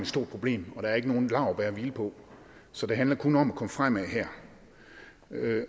stort problem og der er ikke nogen laurbær at hvile på så det handler kun om at komme fremad her